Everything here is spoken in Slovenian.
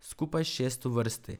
Skupaj šest v vrsti.